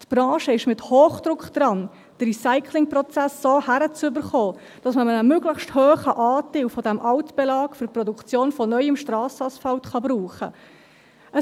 Die Branche ist mit Hochdruck daran, den Recyclingprozess so hinzubekommen, dass man einen möglichst hohen Anteil dieses Altbelags für die Produktion von neuem Strassenasphalt verwenden kann.